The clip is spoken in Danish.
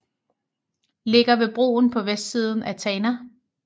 Ligger ved broen på vestsiden af Tana